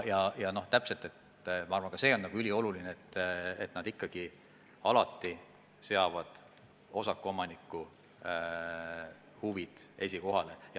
Ja ka see on ülioluline, et nad ikkagi alati seavad osakuomaniku huvid esikohale.